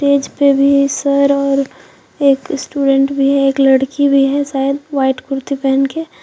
पे भी सर और एक स्टूडेंट भी है एक लड़की भी है शायद व्हाइट कुर्ती पहन के।